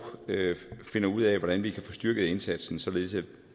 finder ud af hvordan vi kan få styrket indsatsen således